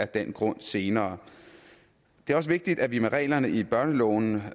den grund senere det er også vigtigt at vi med reglerne i børneloven